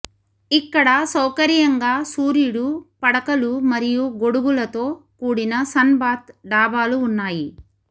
ఇక్కడ సౌకర్యంగా సూర్యుడు పడకలు మరియు గొడుగులతో కూడిన సన్ బాత్ డాబాలు ఉన్నాయి